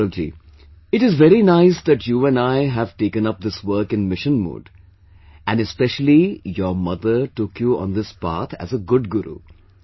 Well Gaurav ji, it is very nice that you and I have taken up this work in mission mode and especially your mother took you on this path as a good guru